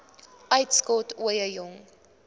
uitskot ooie jong